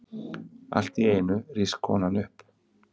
Alltíeinu rís konan upp.